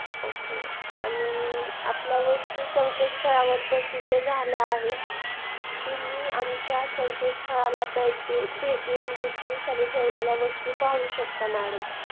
okay आणि आपल्या वस्तू संकेतस्थळावर प्रसिद्ध झाले आहेत तुम्ही आमच्या संकेतस्थळाला भेट देऊन विक्रीसाठी ठेवलेल्या वस्तू पाहू शकता madam